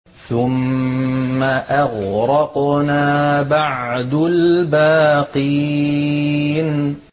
ثُمَّ أَغْرَقْنَا بَعْدُ الْبَاقِينَ